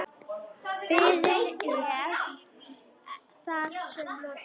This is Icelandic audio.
Biðinni er þar með lokið.